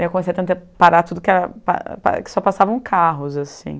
Eu comecei a tentar parar tudo, que era, pa pa só passavam carros, assim.